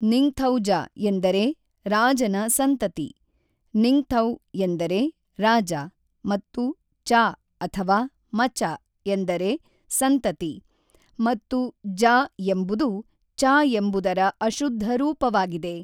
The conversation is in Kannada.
ನಿಂಗ್ಥೌಜ ಎಂದರೆ ರಾಜನ ಸಂತತಿ; ನಿಂಗ್ಥೌ ಎಂದರೆ ರಾಜ ಮತ್ತು ಚ ಅಥವಾ ಮಚ ಎಂದರೆ ಸಂತತಿ ಮತ್ತು ಜ ಎಂಬುದು ಚ ಎಂಬುದರ ಅಶುದ್ಧ ರೂಪವಾಗಿದೆ.